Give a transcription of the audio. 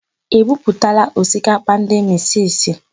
E buputala osikapa ndị misisi?